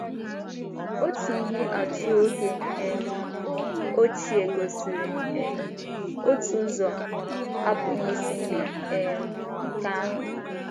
Otu ihe atụ oge um ochie gosiri um otu ụzọ, apụghị isi mee um nke ahụ.